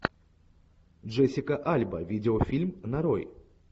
джессика альба видеофильм нарой